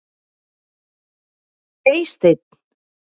Eysteinn